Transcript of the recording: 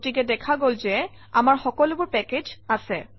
গতিকে দেখা গল যে আমাৰ সকলোবোৰ পেকেজ আছে